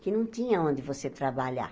que não tinha onde você trabalhar.